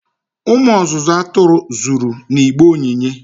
umu ozuzu aturu zuru n'igbe onyinye